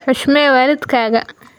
Xushmee waalidkaga